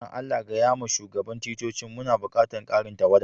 Dan Allah gaya ma shugaban ticcocin muna bukatan karin tawada.